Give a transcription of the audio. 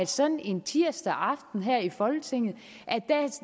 sådan en tirsdag aften her i folketinget